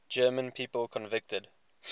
german people convicted